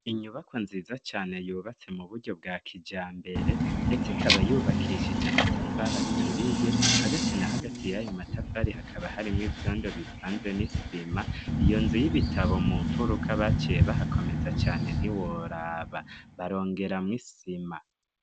Inyubakwa nziza cane yubatse mu buryo bwa kijambere, ndetse ikaba yubakishije amatafari aturiye, hagati na hagati y'ayo matafari hakaba harimwo ivyondo bivanze n'isima. Iyo nzu y'ibitabo mu mfuruka baciye bahakomeza cane ntiworaba, barongeramwo isima.